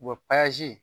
U bɛ